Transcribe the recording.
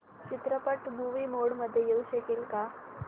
चित्रपट movie mode मध्ये येऊ शकेल का